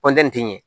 ti ɲɛ